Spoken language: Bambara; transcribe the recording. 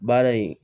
Baara in